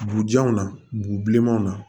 Burujanw na burubilemanw na